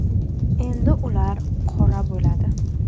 Endi ular qora bo‘ladi .